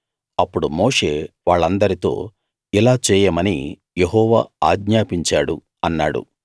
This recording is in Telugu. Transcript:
అప్పుడు మోషే వాళ్ళందరితో ఇలా చేయమని యెహోవా ఆజ్ఞాపించాడు అన్నాడు